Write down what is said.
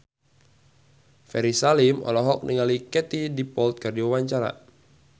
Ferry Salim olohok ningali Katie Dippold keur diwawancara